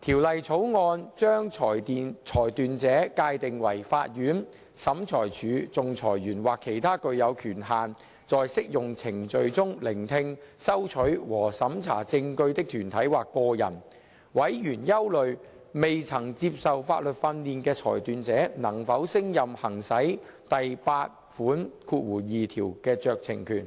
條例草案》把裁斷者界定為法院、審裁處、仲裁員或其他具有權限在適用程序中聆聽、收取和審查證據的團體或個人。委員憂慮未曾接受法律訓練的裁斷者能否勝任行使第82條的酌情權。